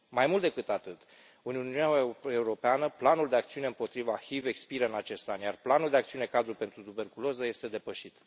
Mai mult decât atât, în Uniunea Europeană, Planul de acțiune împotriva HIV expiră în acest an, iar Planul de acțiune cadru pentru tuberculoză este depășit.